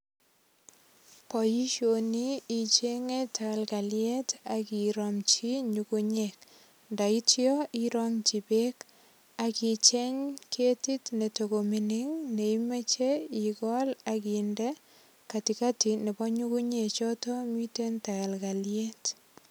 Boisioni ichenge tagalgaliet ak iromchi nyungunyek. Ndaityo irangyi beek ak icheng ketit netagomining ne imoche igol ak inde katikati nebo nyungunyek choto miten tagalgaliet.